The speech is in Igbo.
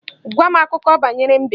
Gwa m akụkọ banyere mbe!